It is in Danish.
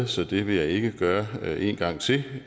så det vil jeg ikke gøre en gang til